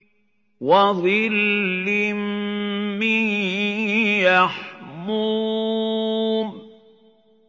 وَظِلٍّ مِّن يَحْمُومٍ